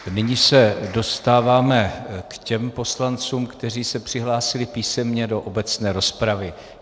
Nyní se dostáváme k těm poslancům, kteří se přihlásili písemně do obecné rozpravy.